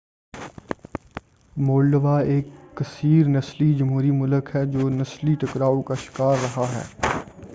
Moldova ایک کثیر نسلی جمہوری ملک ہے جو نسلی ٹکراؤ کا شکار رہا ہے